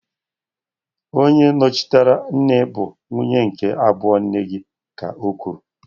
Onye nnọchiteanya nne bụ nwunye nke abụọ nna gi, ka okwuru.